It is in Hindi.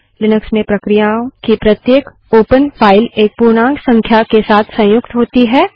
लिनक्स में प्रक्रिया की प्रत्येक ओपनखुली फाइल एक पूर्णांक संख्या के साथ संयुक्त होती है